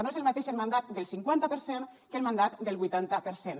no és el mateix el mandat del cinquanta per cent que el mandat del vuitanta per cent